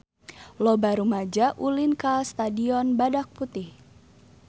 Loba rumaja ulin ka Stadion Badak Putih